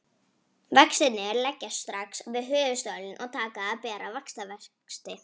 Vextirnir leggjast strax við höfuðstólinn og taka að bera vaxtavexti.